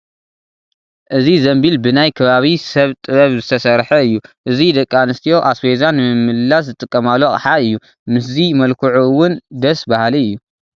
እዚ ዘንቢል ብናይ ከባቢ ሰብ ጥበብ ዝተሰርሐ እዩ፡፡ እዚ ደቂ ኣንስትዮ ኣስቤዛ ንምምልላስ ዝጥቀማሉ ኣቕሓ እዩ፡፡ ምስዚ መልክዑ እውን ደስ በሃሊ እዩ፡፡